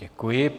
Děkuji.